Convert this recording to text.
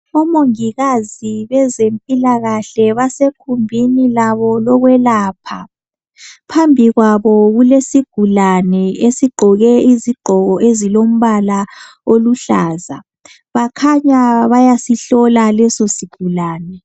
Omongikazi bezempilakahle basegumbini labo lokwelapha phambi kwabo kulesigulane esigqoke izigqoko ezilombala oluhlaza bakhanya bayasihlola leso sigulane.